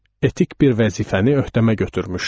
Etik bir vəzifəni öhdəmə götürmüşdüm.